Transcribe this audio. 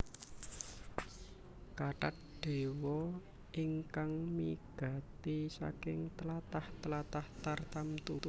Kathat dewa ingkang migati saking tlatah tlatah tartamtu